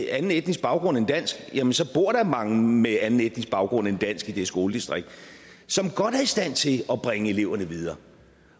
anden etnisk baggrund end dansk jamen så bor der mange med anden etnisk baggrund end dansk i det skoledistrikt som godt er i stand til at bringe eleverne videre